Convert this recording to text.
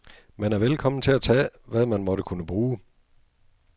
Man er velkommen til at tage, hvad man måtte kunne bruge.